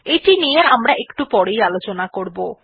এটি নিয়ে আমরা এমরা একটু পরেই আলোচনা করবো